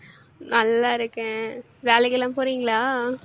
நல்லா இருக்கேன். வேலைக்கெல்லாம் போறீங்களா?